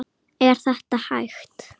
Er þetta hægt?